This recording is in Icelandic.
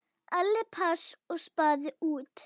Allir pass og spaði út.